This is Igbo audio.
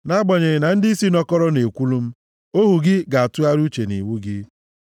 Nʼagbanyeghị na ndịisi nọkọrọ na-ekwulu m, ohu gị ga-atụgharị uche nʼiwu gị.